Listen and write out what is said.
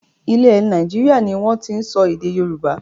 Ilẹ̀ Nàìjíríà ni wọn tin sọ èdè Yorùbá